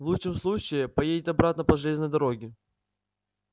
в лучшем случае поедет обратно по железной дороге